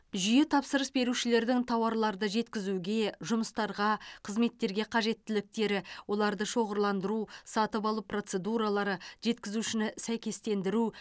жүйе тапсырыс берушілердің тауарларды жеткізуге жұмыстарға қызметтерге қажеттіліктері оларды шоғырландыру сатып алу процедуралары жеткізушіні сәйкестендіру